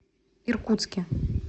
иркутске